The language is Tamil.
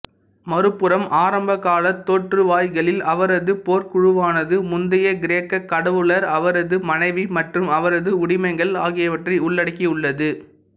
மறுபுறம் ஆரம்பகாலத் தோற்றுவாய்களில் அவரது போர்க்குழுவானது முந்தைய கிரேக்கக் கடவுளர் அவரது மனைவி மற்றும் அவரது உடமைகள் ஆகியவற்றை உள்ளடக்கியுள்ளது